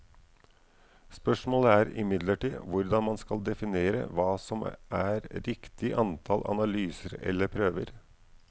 Spørsmålet er imidlertid hvordan man skal definere hva som er riktig antall analyser eller prøver.